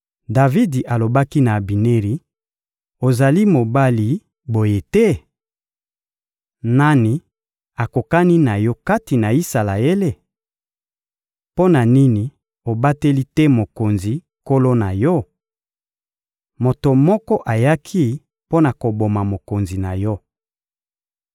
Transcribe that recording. Davidi alobaki na Abineri: — Ozali mobali, boye te? Nani akokani na yo kati na Isalaele? Mpo na nini obateli te mokonzi, nkolo na yo? Moto moko ayaki mpo na koboma mokonzi na yo.